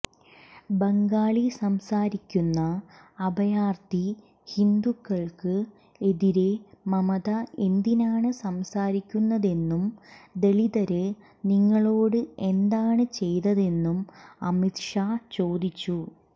ബംഗാളി സംസാരിക്കുന്ന അഭയാര്ഥി ഹിന്ദുക്കള്ക്ക് എതിരെ മമത എന്തിനാണ് സംസാരിക്കുന്നതെന്നും ദളിതര് നിങ്ങളോട് എന്താണ് ചെയ്തതെന്നും അമിത്ഷാ ചോദിച്ചു